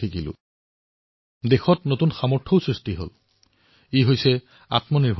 বন্ধুসকল দিল্লী নিবাসী অভিনৱ বেনাৰ্জীয়ে নিজৰ যি অনুভৱ মোলৈ লিখি প্ৰেৰণ কৰিছে সেয়া অতিশয় হদয়স্পৰ্শী